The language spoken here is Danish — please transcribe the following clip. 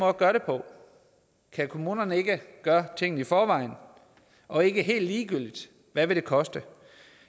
at gøre det på kan kommunerne ikke gøre tingene i forvejen og ikke helt ligegyldigt hvad vil det koste